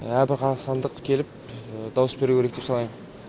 әрбір қазақстандық келіп дауыс беруі керек деп санайм